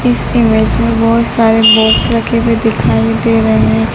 इस इमेज में बहोत सारे बॉक्स रखे हुए दिखाई दे रहे--